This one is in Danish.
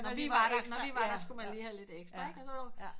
Når vi var der når vi var der skulle man lige have lidt ekstra ikke